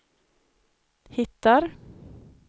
hittar